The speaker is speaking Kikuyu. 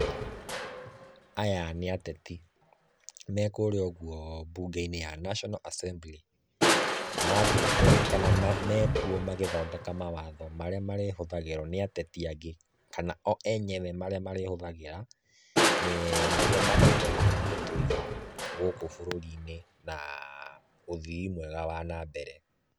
Aya nĩ ateti me kũrĩa ũguo bunge-inĩ ya National Assembly. Mathiĩte kana mekuo magĩthondeka mawatho marĩa marĩhũthagĩrwo nĩ ateti angĩ kana o enyewe marĩa marĩhũthagĩra niguo mahote gũtũĩga gũkũ bũrũri-inĩ na ũthiĩ mwega wa nambere.